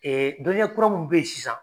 dɔnniya kura mun bɛ ye sisan